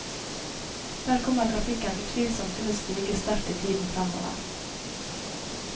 Der kommer trafikken utvilsomt til å stige sterkt i tiden fremover.